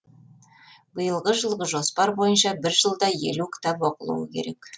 биылғы жылғы жоспар бойынша бір жылда елу кітап оқылуы керек